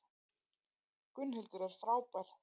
Gunnhildur er frábær.